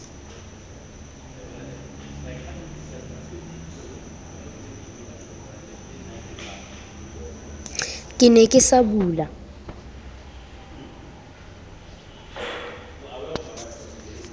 ke ne ke sa bula